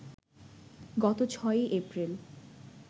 গত ৬ই এপ্রিল